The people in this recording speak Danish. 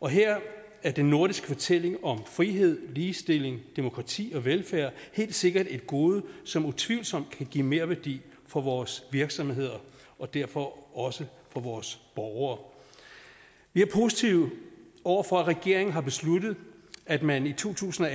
og her er den nordiske fortælling om frihed ligestilling demokrati og velfærd helt sikkert et gode som utvivlsomt kan give merværdi for vores virksomheder og derfor også for vores borgere vi er positive over for at regeringen har besluttet at man i to tusind og